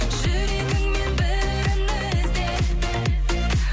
жүрегіңнен бірін ізде